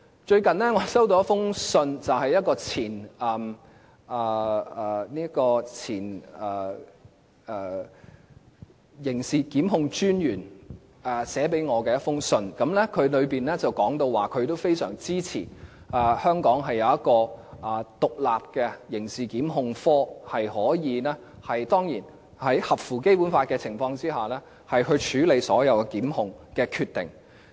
最近我接獲一封由前刑事檢控專員寫給我的信件，當中提到他非常支持香港設立一個獨立的刑事檢控科，在合乎《基本法》的情況下處理所有檢控的決定。